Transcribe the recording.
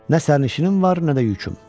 Nə sərnişinim var, nə də yüküm.